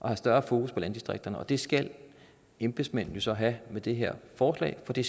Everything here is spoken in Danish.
have større fokus på landdistrikterne og det skal embedsmændene så have med det her forslag fordi